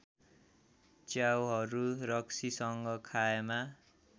च्याउहरू रक्सीसँग खाएमा